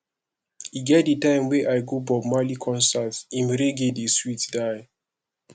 e get di time wey i go bob marley concert im reggae dey sweet die